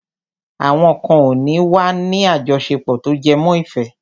Àwọn kan ò ní wà ní àjọṣepọ̀ tó jẹmọ́ ìfẹ́.